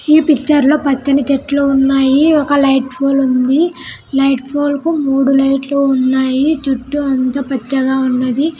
ఈ పిక్చర్ లో పచ్చని చెట్లు ఉన్నాయి ఒక లైట్ పోల్ ఉంది లైట్ పోల్ కి మూడు లైట్ లు ఉన్నాయి చుట్టూ అంత పెద్దగా ఉన్నది.